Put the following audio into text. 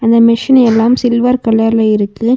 அந்த மெஷின் எல்லாம் சில்வர் கலர்ல இருக்கு.